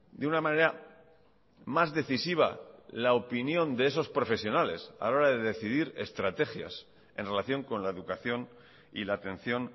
de una manera más decisiva la opinión de esos profesionales a la hora de decidir estrategias en relación con la educación y la atención